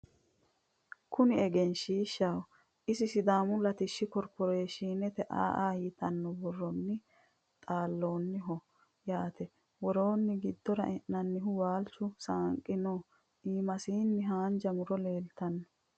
Kunni egenishishaho isino sidaamma latishshu korporeshine A,A yiittano borronni xalinoniho yaate worosinni giddora e'inanihu waalicho saaniqqi noo iimasinino haanija murro leelitanno